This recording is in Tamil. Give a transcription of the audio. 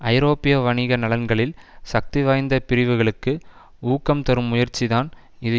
ஐரோப்பிய வணிக நலன்களின் சக்தி வாய்ந்த பிரிவுகளுக்கு ஊக்கம் தரும் முயற்சிதான் இது